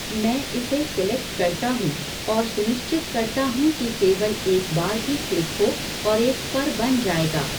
मैं इसे सेलेक्ट करता हूँ और सुनिश्चित करता हूँ कि केवल एक बार ही क्लिक हो और एक फ़र बन जाएगा।